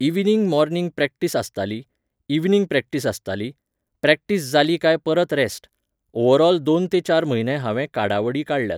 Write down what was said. Evening morning practice आसताली, evening practice आसताली, practice जालेी काय परत रॅस्ट. ओव्हरऑल दोन ते चार म्हयने हांवें काडावडी काडल्यात.